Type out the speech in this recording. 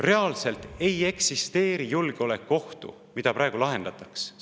Reaalselt ei eksisteeri julgeolekuohtu, mida praegu lahendatakse.